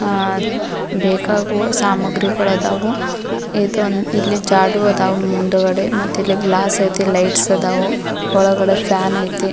ಆ ಬೇಕಾಗುವ ಸಾಮಾಗ್ರಿಗಳು ಅದಾವು ಇಲ್ಲಿ ಜಾಡು ಅದಾವು ಮುಂದುಗಡೆ ಮತ್ತಿಲ್ಲಿ ಗ್ಲಾಸ್ ಐತಿ ಲೈಟ್ಸ್ ಅದಾವು ಒಳಗಡೆ ಫ್ಯಾನ್ ಐತಿ.